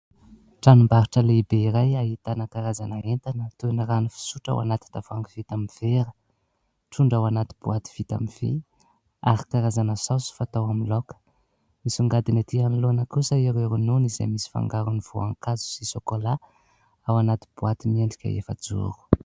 Tranombarotra lehibe iray ahitana karazana entana toy ny rano fisotro ao anaty tavoahangy vita amin'ny vera, trondro ao anaty boaty vita amin'ny vy, ary karazana saosy fatao amin'ny laoka. Misongadina ety anoloana kosa ireo ronono izay misy fangarony voankazo sy sokolà ao anaty boaty miendrika efa-joro.